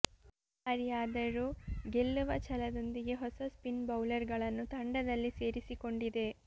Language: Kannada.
ಈ ಬಾರಿಯಾದರೂ ಗೆಲ್ಲುವ ಛಲದೊಂದಿಗೆ ಹೊಸ ಸ್ಪಿನ್ ಬೌಲರ್ ಗಳನ್ನು ತಂಡದಲ್ಲಿ ಸೇರಿಸಿಕೊಂಡಿದೆ